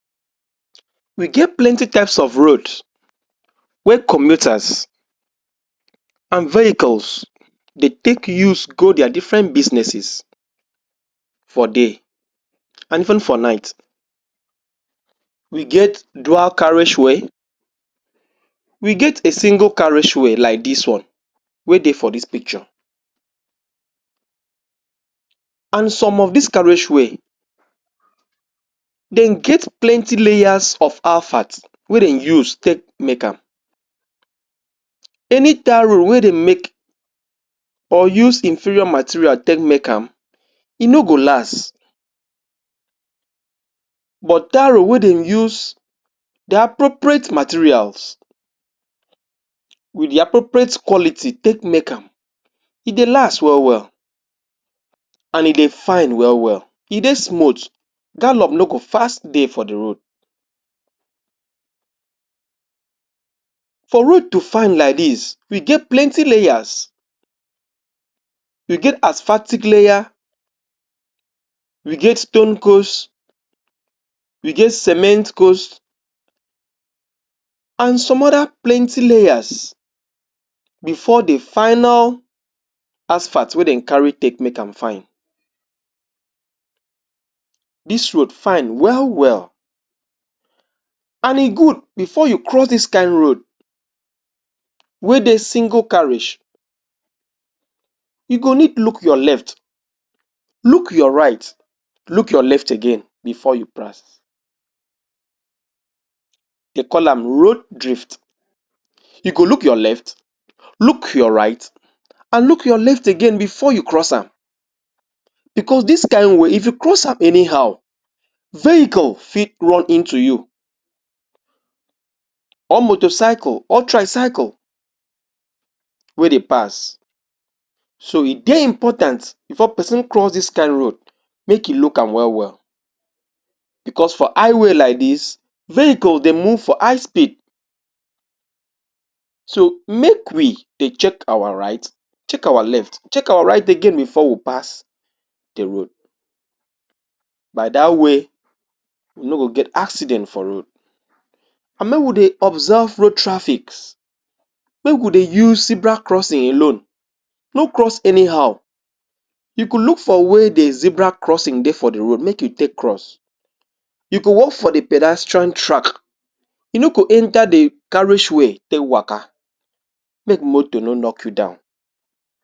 Dey get plenty types of road wey commuters and vehicles dey take use go dia different businesses for day and even for night we get dual carriage way we get a single carriage way like dis one wey dey for dis picture. And some of dis carriage ways dem get plenty layers of alphats wey dem use take make am. Any tarred road wey dem make or use inferior material take make am e no go last but tarred road wey dem use di appropriate materials wit di appropriate kwality take make am e dey last wel wel and e dey fine wel wel e dey smooth gallop no go fast dey for di road. for road to fine like dis, e get plenty layers we get asphaltic layer, we get stone coast, we get cement coast, and some oda plenty layers bifor di final asphalt wey dem carry take make am fine dis road fine wel wel and e good. Bifor you cross dis kain road wey dey single carriage you go need look your left look your right look your left again bifor you ply. Dey call am road drfit you go look your left, look your right, and look your left again bifor you cross am bicos dis kain way if you cross am anyhow vehicle fit run into you, or motorcycle or tricyle wey dey pass So, e dey important bifor pesin cross dis kain road make im look am wel wel bicos for high way like dis vehicle dey move for high speed so, make we dey check our right check our left check our right again bifor we pass di road. By dat way we no go get accident for road and make we dey observe road traffic make we dey use zebra crossing alone no cross anyhow you go look for where di zebra crossing dey for di road make you take cross you go walk for di pedestrian track you no go enta di carriage way take waka make motor no knock you down.